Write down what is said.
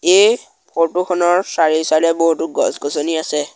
এই ফটো খনৰ চাৰিও-চাইডে এ বহুতো গছ-গছনি আছে।